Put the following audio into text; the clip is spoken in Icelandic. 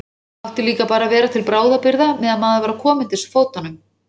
Átti líka bara að vera til bráðabirgða meðan maður var að koma undir sig fótunum.